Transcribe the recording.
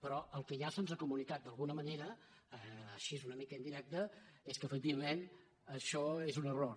però el que ja se’ns ha comunicat d’alguna manera així una mica indirecta és que efectivament això és un error